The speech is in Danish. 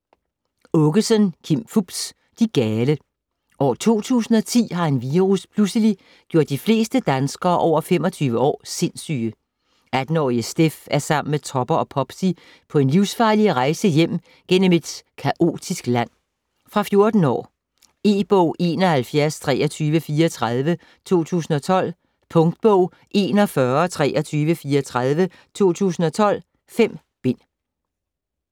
Aakeson, Kim Fupz: De gale År 2010 har en virus pludselig gjort de fleste danskere over 25 år sindssyge. 18-årige Steff er sammen med Topper og Popsy på en livsfarlig rejse hjem gennem et kaotisk land. Fra 14 år. E-bog 712334 2012. Punktbog 412334 2012. 5 bind.